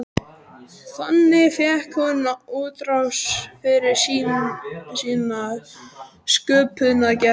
Þannig fékk hún útrás fyrir sína sköpunargleði.